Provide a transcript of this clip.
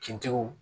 Kintigiw